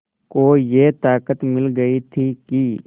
को ये ताक़त मिल गई थी कि